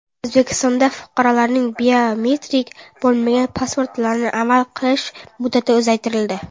O‘zbekistonda fuqarolarning biometrik bo‘lmagan pasportlarini amal qilish muddati uzaytirildi.